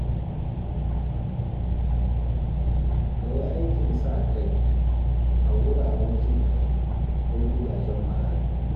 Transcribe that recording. Ka yi aikin sa kai a wuraren jinƙai ko gidajen marayu.